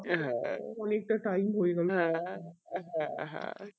হ্যাঁ অনিকটা time হয়েগেলো হ্যাঁ